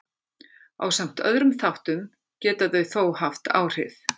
Ásamt öðrum þáttum geta þau þó haft áhrif.